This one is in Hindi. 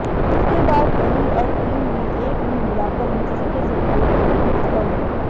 उसके बाद दही और क्रीम में एक में मिलाकर मिक्सी के जरिए मिक्स कर लें